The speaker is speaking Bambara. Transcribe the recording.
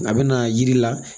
A bɛ na yiri la